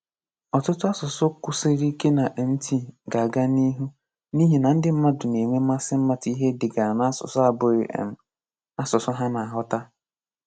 Ọtụtụ asụsụ kwụsiri ike na MT ga-aga n'ihu n'ihi na ndị mmadụ na-enwe mmasị ịmata ihe e degara n'asụsụ abụghị um asụsụ ha na-aghọta.